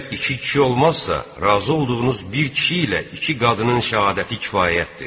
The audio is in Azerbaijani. Əgər iki kişi olmazsa, razı olduğunuz bir kişi ilə iki qadının şəhadəti kifayətdir.